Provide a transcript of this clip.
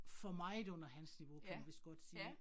For meget under hans niveau kan man vist godt sige